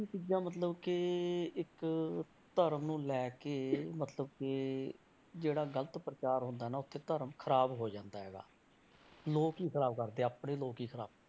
ਚੀਜ਼ਾਂ ਮਲਤਬ ਕਿ ਇੱਕ ਧਰਮ ਨੂੰ ਲੈ ਕੇ ਮਤਲਬ ਕਿ ਜਿਹੜਾ ਗ਼ਲਤ ਪ੍ਰਚਾਰ ਹੁੰਦਾ ਨਾ, ਉੱਥੇ ਧਰਮ ਖ਼ਰਾਬ ਹੋ ਜਾਂਦਾ ਹੈਗਾ, ਲੋਕ ਹੀ ਖ਼ਰਾਬ ਕਰਦੇ ਆਪਣੇ ਲੋਕ ਹੀ ਖ਼ਰਾਬ।